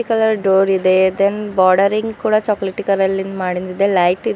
colour door ಇದೆ ಇದನ್ bordering ಕೂಡ ಚಾಕಲೆಟಿ ಕಲರ ಲಿಂದ ಮಾಡಿಂದ ಇದೆ ಲೈಟ್ --